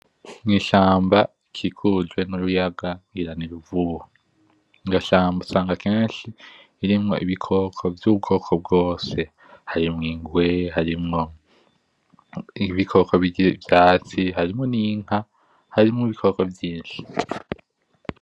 N’ishamba ikikujwe n’uruyaga ngira ni Ruvubu. Iryo shamba usanga kenshi irimwo ibikoko vy’ubwoko bwose; harimwo ingwe, harimwo ibikoko birya ivyatsi, harimwo n’inka, harimwo ibikoko vyinshi.